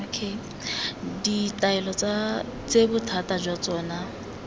ditaelo tse bothata jwa tsona